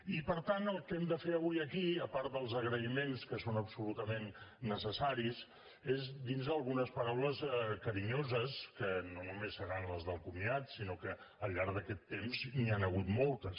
i per tant el que hem de fer avui aquí a part dels agraïments que són absolutament necessaris és dirnos algunes paraules carinyoses que no només seran les del comiat sinó que al llarg d’aquest temps n’hi han hagut moltes